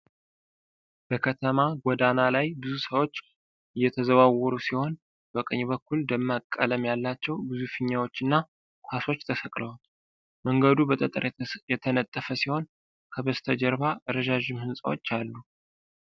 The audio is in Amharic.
በከተማ ጎዳና ላይ ብዙ ሰዎች እየተዘዋወሩ ሲሆን፣ በቀኝ በኩል ደማቅ ቀለም ያላቸው ብዙ ፊኛዎች እና ኳሶች ተሰቅለዋል። መንገዱ በጠጠር የተነጠፈ ሲሆን፣ ከበስተጀርባ ረዣዥም ህንፃዎች አሉ።